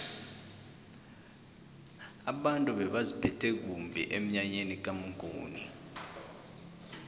abantu bebaziphethe kumbi emnyanyeni kwamnguni